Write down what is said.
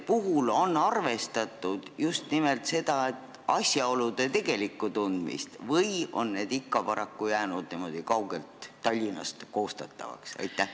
Kas on arvestatud just nimelt asjaolude tegelikku tundmist või on need ikkagi paraku jäänud kaugelt Tallinnast koostatavateks?